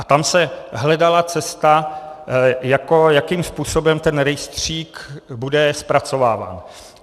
A tam se hledala cesta, jakým způsobem ten rejstřík bude zpracováván.